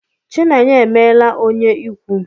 Chinenye emela onye ikwu.